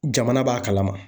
Jamana b'a kalama.